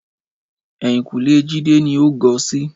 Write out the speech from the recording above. Ẹ̀yìnkùlẹ́ Jídé ni ó gọ sí